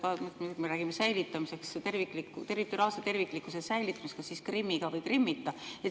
Nüüd me räägime territoriaalse terviklikkuse säilitamisest, aga kas siis Krimmiga või Krimmita?